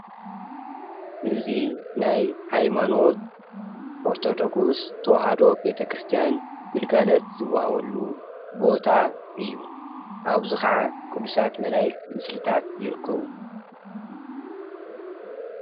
ኣብ ትግራይ ካብ ዝርከቡ ሃይማኖታት ሓደ ዝኮነ ኦርቶዶክስ ተዋህዶ ሃይማኖት ቤተ-ክርስትያን እንትከውን፣ ዝተፈላለዩ ናይ መላእክትን ፃዲቃትን ስእልታት ኣብ ላዕልን ዓንድን ዘለዎ መርሓቲ ኣቅሽሽትን ኣመንቲ ኣብኡ ኣትዮም ዝፅልዩሉ ቦታ እዩ።